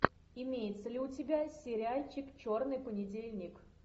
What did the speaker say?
имеется ли у тебя сериальчик черный понедельник